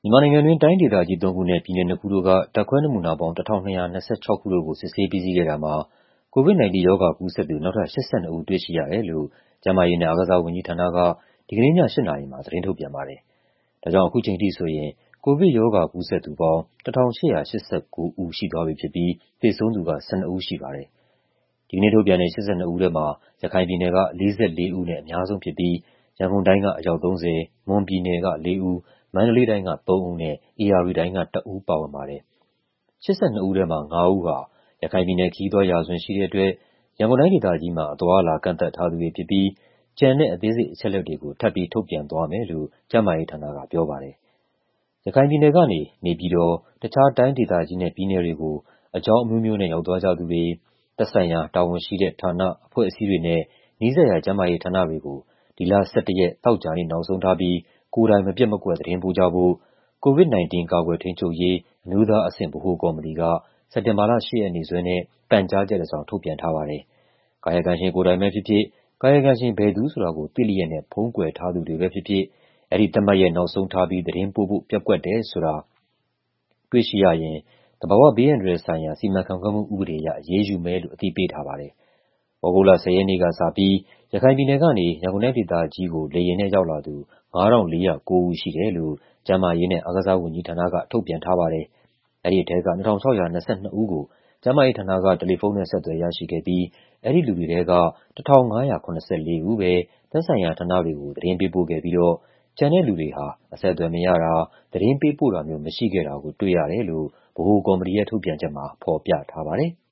မြန်မာနိုင်ငံတွင်း တိုင်းဒေသကြီး ၃ ခုနဲ့ ပြည်နယ် ၂ ခုတို့က ဓာတ်ခွဲနမူနာပေါင်း ၁,၂၂၆ ခုတို့ကို စစ်ဆေးပြီးစီးခဲ့တာမှာ COVID-19 ရောဂါကူးစက်သူ နောက်ထပ် ၈၂ ဦး တွေ့ရှိရတယ်လို့ ကျန်းမာရေးနဲ့ အားကစားဝန်ကြီးဌာနက ဒီကနေ့ည ၈ နာရီမှာ သတင်းထုတ်ပြန်ပါတယ်။ ဒါကြောင့် အခုချိန်ထိဆိုရင် ကိုဗစ်ရောဂါ ကူးစက်သူပေါင်း ၁,၈၈၉ ဦး ရှိသွားပြီဖြစ်ပြီး သေဆုံးသူက ၁၂ ဦးရှိပါတယ်။ ဒီကနေ့ထုတ်ပြန်တဲ့ ၈၂ ဦးထဲမှာ ရခိုင်ပြည်နယ်က ၄၄ ဦးနဲ့ အများဆုံးဖြစ်ပြီး ရန်ကုန်တိုင်းက အယောက် ၃၀၊ မွန်ပြည်နယ်က ၄ ဦး၊ မန္တလေးတိုင်းက ၃ ဦးနဲ့ ဧရာဝတီတိုင်းက ၁ ဦး ပါဝင်ပါတယ်။ ၈၂ ဦးထဲမှာ ၅ ဦးဟာ ရခိုင်ပြည်နယ် ခရီးသွားရာဇဝင်ရှိတဲ့အတွက် ရန်ကုန်တိုင်းဒေသကြီးမှာ အသွားအလာ ကန့်သတ်ထားသူတွေဖြစ်ပြီး ကျန်တဲ့ အသေးစိတ်အချက်အလက်တွေကို ထပ်ပြီး ထုတ်ပြန်သွားမယ်လို့ ကျန်းမာရေးဌာနက ပြောပါတယ်။ ရခိုင်ပြည်နယ်ကနေ နေပြည်တော်၊ တခြား တိုင်းဒေသကြီးနဲ့ ပြည်နယ်တွေကို အကြောင်းအမျိုးမျိုးနဲ့ ရောက်သွားကြသူတွေ သက်ဆိုင်ရာ တာဝန်ရှိတဲ့ဌာန၊ အဖွဲ့အစည်းတွေနဲ့ နီးစပ်ရာကျန်းမာရေးဌာနတွေကို ဒီလ ၁၁ ရက်၊ သောကြာနေ့ နောက်ဆုံးထားပြီး ကိုယ်တိုင် မပျက်မကွက် သတင်းပို့ကြဖို့ COVID-19 ကာကွယ်ထိန်းချုပ်ရေး အမျိုးသားအဆင့် ဗဟိုကော်မတီက စက်တင်ဘာလ ၈ ရက်နေ့စွဲနဲ့ ပန်ကြားချက်တစောင် ထုတ်ပြန်ထားပါတယ်။ ကာယကံရှင် ကိုယ်တိုင်ပဲဖြစ်ဖြစ်၊ ကာယကံရှင် ဘယ်သူဆိုတာကို သိလျက်နဲ့ ဖုံးကွယ်ထားသူတွေပဲဖြစ်ဖြစ် အဲဒီသတ်မှတ်ရက် နောက်ဆုံးထားပြီး သတင်းပို့ဖို့ ပျက်ကွက်တယ်ဆိုတာ တွေ့ရှိရရင် သဘာဝဘေးအန္တရာယ်ဆိုင်ရာ စီမံခန့်ခွဲမှုဥပဒေအရ အရေးယူမယ်လို့ အသိပေးထားပါတယ်။ သြဂုတ်လ ၁၀ ရက်နေ့ကစပြီး ရခိုင်ပြည်နယ်ကနေ ရန်ကုန်တိုင်းဒေသကြီးကို လေယာဉ်နဲ့ ရောက်လာသူ ၅,၄၀၉ ဦးရှိတယ်လို့ ကျန်းမာရေးနဲ့ အားကစားဝန်ကြီးဌာနက ထုတ်ပြန်ထားပါတယ်။ အဲဒီထဲက ၂,၆၂၂ ဦးကို ကျန်းမာရေးဌာနက တယ်လီဖုန်းနဲ့ ဆက်သွယ်ရရှိခဲ့ပြီး အဲဒီလူတွေထဲက ၁,၅၇၄ ဦးပဲ သက်ဆိုင်ရာဌာနတွေကို သတင်းပေးပို့ခဲ့ပြီးတော့ ကျန်တဲ့လူတွေဟာ အဆက်အသွယ်မရတာ၊ သတင်းပေးပို့တာမျိုး မရှိခဲ့တာကို တွေ့ရတယ်လို့ ဗဟိုကော်မတီရဲ့ ထုတ်ပြန်ချက်မှာ ဖော်ပြထားပါတယ်။